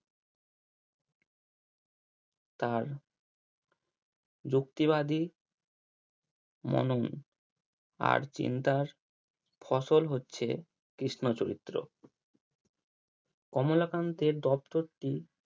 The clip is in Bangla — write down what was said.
তার যুক্তিবাদী আর চিন্তার ফসল হচ্ছে কৃষ্ণ চরিত্র কমলা কান্তের দপ্তরটি